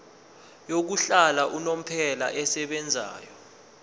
yokuhlala unomphela esebenzayo